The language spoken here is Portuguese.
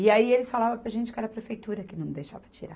E aí eles falavam para a gente que era a prefeitura que não deixava tirar.